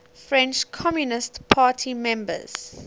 french communist party members